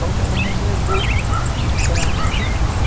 Só que ela nos levou para a justiça.